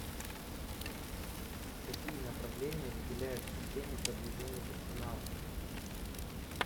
какие направления выделяют в системе продвижения персонала